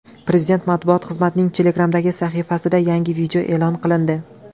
Prezident matbuot xizmatining Telegram’dagi sahifasida yangi video e’lon qilindi .